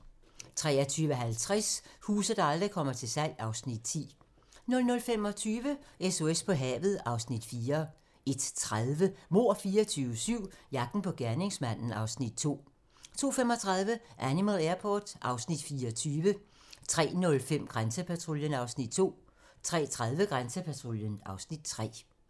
23:50: Huse, der aldrig kommer til salg (Afs. 10) 00:25: SOS på havet (Afs. 4) 01:30: Mord 24/7 - jagten på gerningsmanden (Afs. 2) 02:35: Animal Airport (Afs. 24) 03:05: Grænsepatruljen (Afs. 2) 03:30: Grænsepatruljen (Afs. 3)